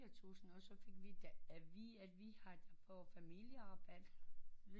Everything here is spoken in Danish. Fire tusind og så fik da at vide at vi da får familie rabat